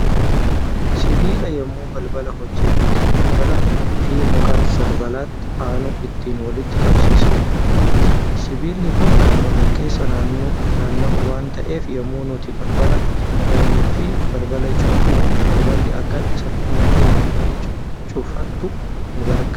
Sibiila yemmoo balbala hojjannu ittiin balbala Fi muka balballatti aanu ittiin walitti qabsiifnuudha. sibiilli Kuni Kan walkeessa naanna'u waan taa'eef yommuu nuti balbala bannuufi balbala cufnu balballi Akka salphumatti naanna'ee cufatu nu gargaara.